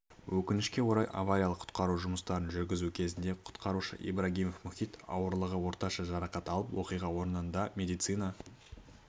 өкінішке орай авариялық-құтқару жұмыстарын жүргізу кезінде құтқарушы ибрагимов мұхит ауырлығы орташа жарақат алып оқиға орнында медицина